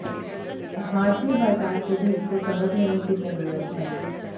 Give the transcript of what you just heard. भारतीय बाजार को भी इससे सबक लेने की जरूरत है